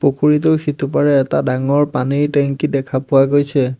পুখুৰীটোৰ সিটোপাৰে এটা ডাঙৰ পানীৰ টেংকি দেখা পোৱা গৈছে।